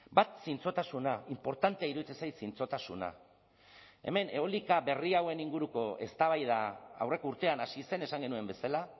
bat zintzotasuna inportantea iruditzen zait zintzotasuna hemen eolika berri hauen inguruko eztabaida aurreko urtean hasi zen esan genuen bezala